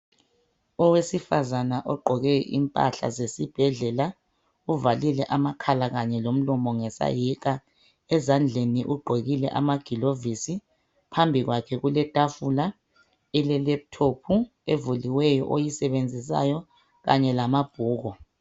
Owesifazana ogqoke impahla zesibhedlela uvalile amakhala kanye lomlomo ngesayeka. Ezandleni ugqokile amagilovisi phambi kwakhe kuletafula elelephuthophi evuliweyo oyisebenzisayo kanye lamabhuku.